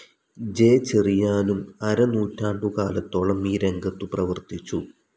J ചെറിയാനും അരനൂറ്റാണ്ടുകാലത്തോളം ഈ രംഗത്തു പ്രവർത്തിച്ചു.